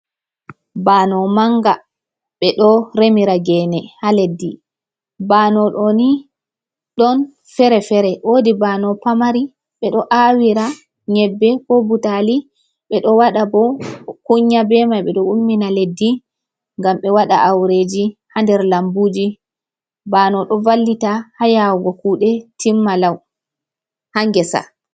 Baano manga. Ɓe ɗo remira geene haa leddi, baano ɗoni ɗon fere-fere, woodi baano pamari, ɓe ɗo aawira nyebbe, ko butaali, ɓe ɗo waɗa bo kunya be mai. Ɓe ɗo ummina leddi ngam ɓe waɗa aureeji haa nder lambuuji, baano ɗo vallita haa yaawugo kuuɗe timma lau, haa ngesa.